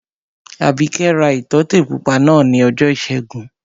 Àbíkẹ́ ra ìtọ́tè pupa náà ní ọjọ́ ìṣẹ́gun